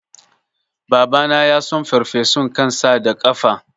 Babana yason farfesun kan sa da kafa